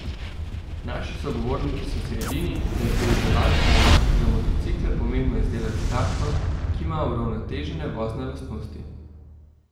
Naši sogovorniki so si edini, da je pri izdelavi pnevmatik za motocikle pomembno izdelati takšno, ki ima uravnotežene vozne lastnosti.